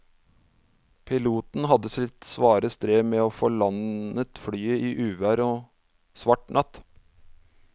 Piloten hadde sitt svare strev med å få landet flyet i uvær og svart natt.